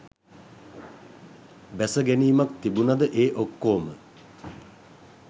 බැසගැනීමක් තිබුනද ඒ ඔක්කෝම